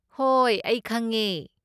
ꯍꯣꯏ, ꯑꯩ ꯈꯪꯉꯦ꯫